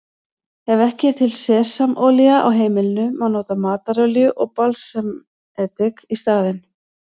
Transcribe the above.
Ef ekki er til sesamolía á heimilinu má nota matarolíu og balsamedik í staðinn.